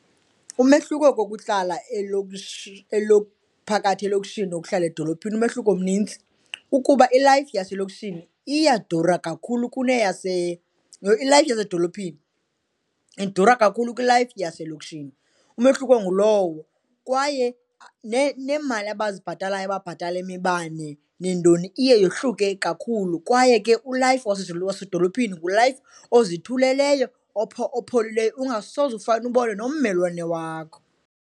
Umehluko kokuhlala phakathi elokishini nokuhlala edolophini, umehluko mnintsi ukuba ilayifi yaselokishini iyadura kakhulu kune yase, yho! Ilayifi yasedolophini idura kakhulu kwilayifi yaselokishini. Umehluko ngulowo kwaye neemali abazibhatalayo, ababhatala imibane neentoni iye yohluke kakhulu kwaye ke ulayifi wasedolophini ngulayifi ozithuleleyo, opholileyo, ungasoze ufana ubone nommelwane wakho.